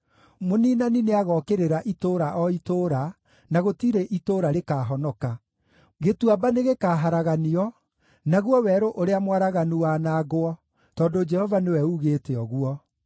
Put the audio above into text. Mũniinani nĩagookĩrĩra itũũra o itũũra, na gũtirĩ itũũra rĩkahonoka. Gĩtuamba nĩgĩkaharaganio, naguo werũ ũrĩa mwaraganu wanangwo, tondũ Jehova nĩwe ugĩte ũguo.